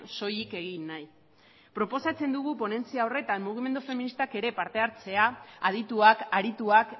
soilik egin nahi proposatzen dugu ponentzia horretan mugimendu feministak ere parte hartzea adituak arituak